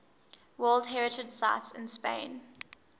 world heritage sites in spain